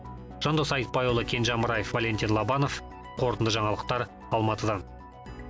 жандос айтбайұлы кенже амраев валентин лобанов қорытынды жаңалықтар алматыдан